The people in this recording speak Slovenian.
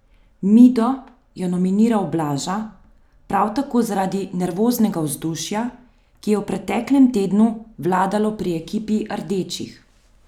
Mido je nominiral Blaža, prav tako zaradi nervoznega vzdušja, ki je v preteklem tednu vladalo pri ekipi rdečih.